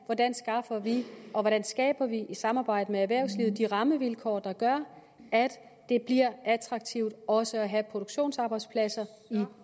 hvordan skaffer vi og hvordan skaber vi i samarbejde med erhvervslivet de rammevilkår der gør at det bliver attraktivt også at have produktionsarbejdspladser i